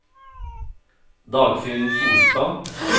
Dagfinn Solstad